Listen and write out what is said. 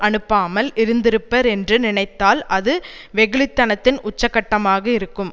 அனுப்பாமல் இருந்திருப்பர் என்று நினைத்தால் அது வெகுளித்தனத்தின் உச்சக்கட்டமாக இருக்கும்